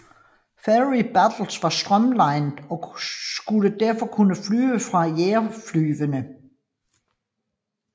Fairey Battle var strømlinet og skulle derfor kunne flyve fra jagerflyene